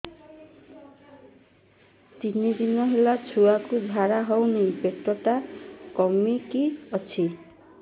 ତିନି ଦିନ ହେଲା ଛୁଆକୁ ଝାଡ଼ା ହଉନି ପେଟ ଟା କିମି କି ଅଛି